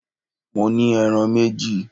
Mo ní ẹran méjì!